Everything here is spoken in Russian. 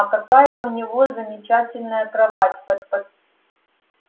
а какая у него замечательная кровать